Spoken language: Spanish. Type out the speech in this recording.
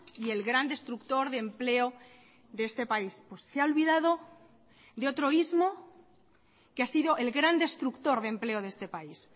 y el gran destructor de empleo de este país se ha olvidado de otro ismo que ha sido el gran destructor de empleo de este país